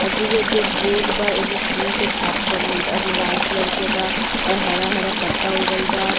और दुगो जो बोर्ड बा। ऐमें फूल के छाप बनल बा जो लाल कलर के बा और हरा- हरा पत्ता उगल बा।